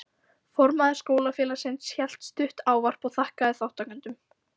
Formaður Skólafélagsins hélt stutt ávarp og þakkaði þátttakendum.